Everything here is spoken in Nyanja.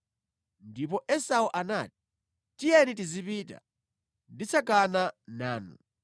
Ndipo Esau anati, “Tiyeni tizipita; nditsagana nanu.”